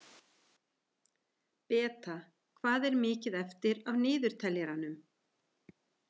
Beta, hvað er mikið eftir af niðurteljaranum?